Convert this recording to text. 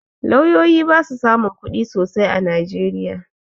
Lauyoyi ba su samun kuɗi sosai a najeriya